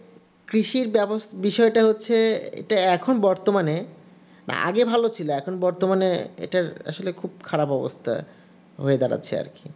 কৃষির বিষয়টা হচ্ছে এখন বর্তমানে আগে ভালো ছিল এখন বর্তমানে এটা আসলে খুব খারাপ অবস্থা হয়ে যাবে দাঁড়াচ্ছে আর কি